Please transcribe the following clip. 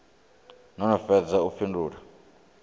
no no fhedza u fhindula